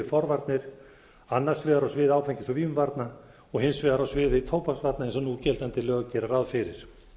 forvarnir annars vegar á sviði áfengis og vímuvarna og hins vegar á sviði tóbaksvarna eins og núgildandi lög gera ráð fyrir